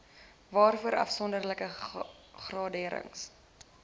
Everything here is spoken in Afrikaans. waarvoor afsonderlike graderings